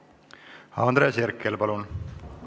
Andres Herkel, palun!